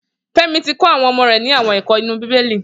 Femi ti kọ awọn ọmọ rè ni awọn ẹkọ inú bibéli